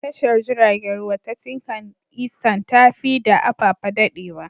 Tashar jiragen ruwa ta Tinkan Isand ta fi da Apapa daɗewa.